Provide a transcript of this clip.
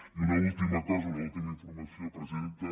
i una última cosa una última informació presidenta